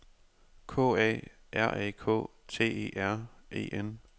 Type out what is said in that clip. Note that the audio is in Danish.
K A R A K T E R E N